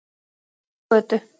Laxagötu